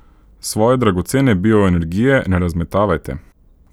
Svoje dragocene bioenergije ne razmetavajte.